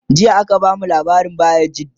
jiya aka bamu labarin bayajidda